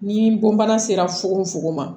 Ni bon bana sera fogofogo ma